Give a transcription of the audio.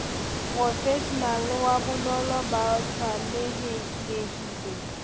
profeshenale wa bonono ba tshwanelhileng